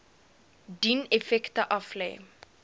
dien effekte aflê